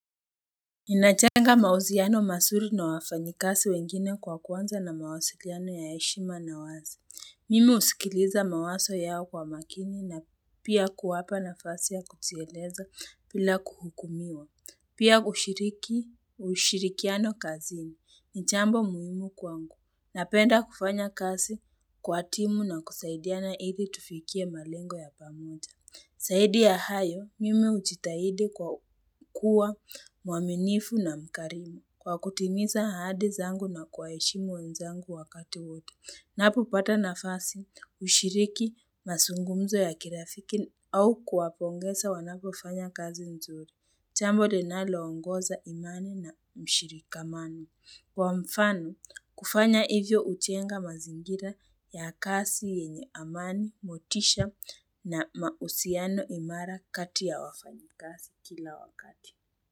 Ninajenga mahusiano mazuri na wafanyakazi wengine kwa kuanza na mawasiliano ya heshima na wazi. Mimi husikiliza mawazo yao kwa makini na pia kuwapa nafasi ya kujieleza bila kuhukumiwa. Pia ushiriki ushirikiano kazini ni jambo muhimu kwangu. Napenda kufanya kazi kwa timu na kusaidiana ili tufikie malengo ya pamoja. Zaidi ya hayo, mimi hujitahidi kwa kuwa muaminifu na mkarimu kwa kutimiza ahadi zangu na kuwaheshimu wenzangu wakati wote. Ninapopata nafasi hushiriki mazungumzo ya kirafiki au kuwapongeza wanapofanya kazi nzuri. Jambo linalo ongoza imani na mshirikamano. Kwa mfano kufanya hivyo hutenga mazingira ya kasi yenye amani, motisha na mahusiano imara kati ya wafanyakazi kila wakati.